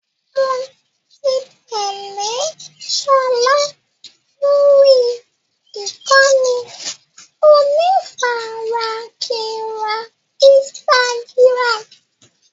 Mo ti tẹ́lé sọlá lórí ìkànnì onífarakínra Instagram.